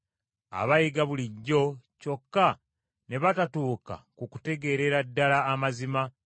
abayiga bulijjo, kyokka ne batatuuka ku kutegeerera ddala amazima,